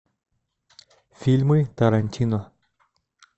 фильмы тарантино